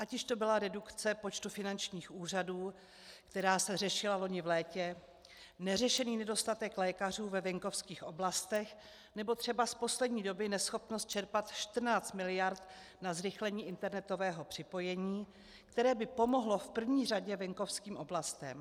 Ať již to byla redukce počtu finančních úřadů, která se řešila loni v létě, neřešený nedostatek lékařů ve venkovských oblastech nebo třeba z poslední doby neschopnost čerpat 14 mld. na zrychlení internetového připojení, které by pomohlo v první řadě venkovským oblastem.